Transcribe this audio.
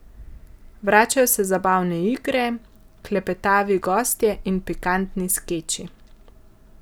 Vračajo se zabavne igre, klepetavi gostje in pikantni skeči.